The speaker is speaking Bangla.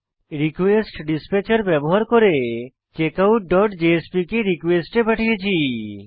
রিকোয়েস্টডিসপ্যাচের ব্যবহার করে checkoutজেএসপি কে রিকোয়েস্ট এ পাঠিয়েছি